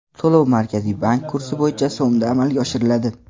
To‘lov Markaziy bank kursi bo‘yicha so‘mda amalga oshiriladi.